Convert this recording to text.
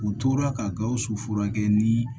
U tora ka gawusu furakɛ ni